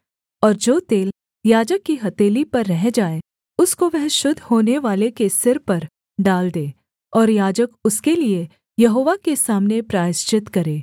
और जो तेल याजक की हथेली पर रह जाए उसको वह शुद्ध होनेवाले के सिर पर डाल दे और याजक उसके लिये यहोवा के सामने प्रायश्चित करे